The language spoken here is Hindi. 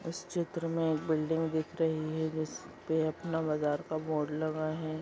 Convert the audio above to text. इस चित्र में एक बिल्डिंग दिख रही है जिसपे अपना बाज़ार का बोर्ड लगा हुआ है।